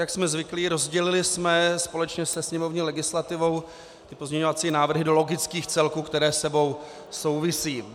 Jak jsme zvyklí, rozdělili jsme společně se sněmovní legislativou pozměňovací návrhy do logických celků, které spolu souvisí.